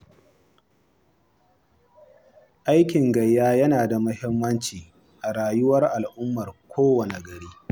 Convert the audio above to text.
Aikin gayya yana da muhimmanci a rayuwar al'ummar kowane gari.